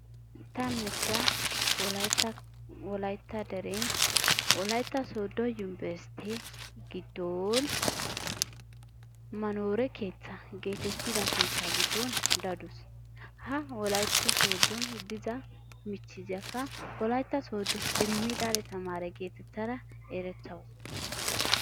Ta michchiya wolaytta wolaytta deren wolaytta sooddo yunbberestte giddon manoore keettaa geetettida keettaa giddon daduusu. Ha wolaytta sooddon dida michchiziyakka wolaytta sooddo irimidaale tamaare geetettada erettawusu.